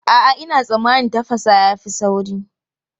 A'a, ina tsammanin tafasa ya fi sauri.